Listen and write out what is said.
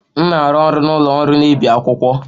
M na-arụ ọrụ na ụlọ ọrụ na-ebi akwụkwọ.